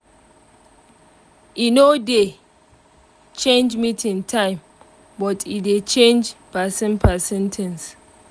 e no dey change meeting time but e dey change person person things